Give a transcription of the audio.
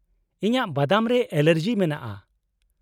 ᱤᱧᱟᱜ ᱵᱟᱫᱟᱢ ᱨᱮ ᱮᱞᱟᱨᱡᱤ ᱢᱮᱱᱟᱜᱼᱟ ᱾